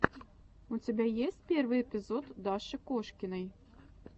у тебя есть первый эпизод даши кошкиной